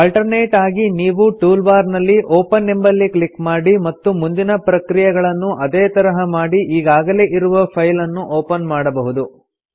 alternate ಆಗಿ ನೀವು tool bar ನಲ್ಲಿ ಒಪೆನ್ ಎಂಬಲ್ಲಿ ಕ್ಲಿಕ್ ಮಾಡಿ ಮತ್ತು ಮುಂದಿನ ಪ್ರಕ್ರಿಯೆಗಳನ್ನು ಅದೇ ತರಹ ಮಾಡಿ ಈಗಾಗಲೇ ಇರುವ ಫೈಲನ್ನು ಒಪನ್ ಮಾಡಬಹುದು